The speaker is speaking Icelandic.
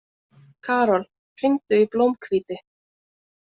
Karol, hringdu í Blómhvíti.